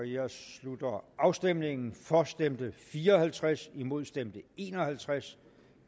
jeg slutter afstemningen for stemte fire og halvtreds imod stemte en og halvtreds